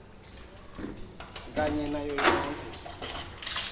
kanye nayo yonkhe